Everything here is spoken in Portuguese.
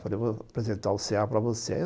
Falei, vou apresentar o cê a para você.